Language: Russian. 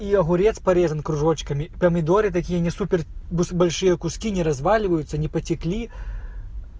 и огурец порезанный кружочками и помидоры такие не супер большие в куски не разваливаются не потекли